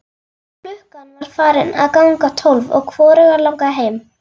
Klukkan var farin að ganga tólf og hvorugan langaði heim.